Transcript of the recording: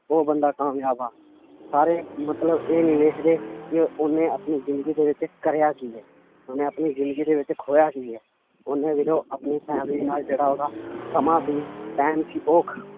ਉਹ ਬੰਦਾ ਕਾਮਯਾਬ ਆ ਸਾਰੇ ਮਤਲਬ ਇਹ ਨੀ ਵੇਖਦੇ ਵੀ ਉਹਨੇ ਆਪਣੀ ਜ਼ਿੰਦਗੀ ਦੇ ਵਿੱਚ ਕਰਿਆ ਕੀ ਹੈ ਉਹਨੇ ਆਪਣੀ ਜ਼ਿੰਦਗੀ ਦੇ ਵਿੱਚ ਖੋਇਆ ਕੀ ਹੈ ਉਹਨੇ ਵੀਰਿਓ ਆਪਣੀ family ਨਾਲ ਜਿਹੜਾ ਉਹਦਾ ਸਮਾਂ ਸੀ time ਸੀ ਉਹ ਖ~